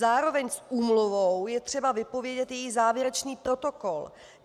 Zároveň s úmluvou je třeba vypovědět její závěrečný protokol.